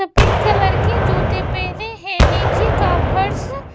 सफेद कलर के जूते पहने हैं नीचे का फर्स --